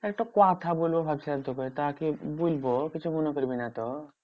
একটা কথা বলবো ভাবছিলাম তোকে তা কি বলবো? কিছু মনে করবি না তো?